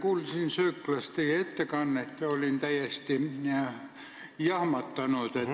Kuulsin sööklas teie ettekannet ja olin täiesti jahmunud.